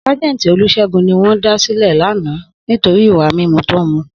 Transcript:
Sajenti Olusegun ni won da sile lana nitori iwa mimu to n mu